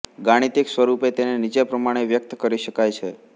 ગાણિતિક સ્વરૂપે તેને નીચે પ્રમાણે વ્યક્ત કરી શકાય છે